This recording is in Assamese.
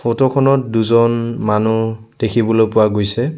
ফটো খনত দুজন মানুহ দেখিবলৈ পোৱা গৈছে।